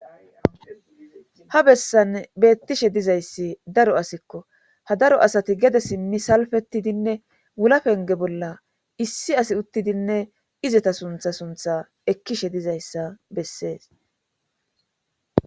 ha bessan beettishe dizayssi daro asikko ha daro asati gede sinni salfettidinne wulapenge bolla issi asi uttidinne izeta suntha suntha ekkishe dizayssa bessees